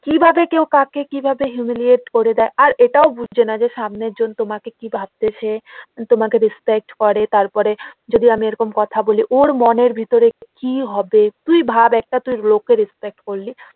কিভাবে কেউ কাকে কিভাবে humiliate করে দেয় আর এটাও বুঝছেনা যে সামনের জন তোমাকে কি ভাবতেছে তোমাকে respect করে তারপরে যদি আমি এইরকম কথা বলি ওর মনের ভিতরে কি হবে তুই ভাব তুই একটা লোককে respect করলি